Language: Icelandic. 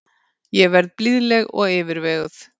Ég verð blíðleg og yfirveguð.